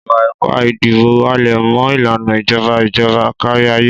Ìwà ipá ìdìbò ń halẹ̀ mọ́ ìlànà ìjọba ìjọba kárí ayé.